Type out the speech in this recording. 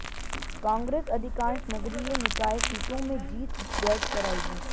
कांग्रेस अधिकांश नगरीय निकाय सीटों में जीत दर्ज कराएगी